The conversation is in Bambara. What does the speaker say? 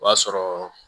O b'a sɔrɔ